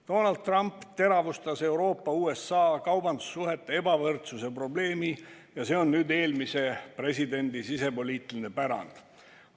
Donald Trump teravustas Euroopa ja USA kaubandussuhete ebavõrdsuse probleemi ja see on eelmise presidendi sisepoliitiline pärand.